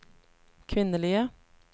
kvinnelige